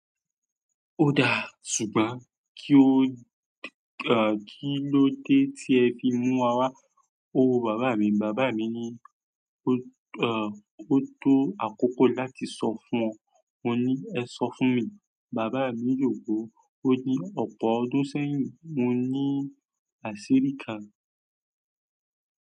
Ó dáa, ṣùgbọ́n kí ó kílódé tí ẹ fi mú wa wá? Owó bàbá mi ni. Bàbá mi ní ó tó àkókò láti sọ fún ọ. Mo ní ẹ sọ fún mi. Bàbá mi lògùn, ó ní ọ̀pọ̀ ọdún sẹ́yìn mo ní àṣírí kan.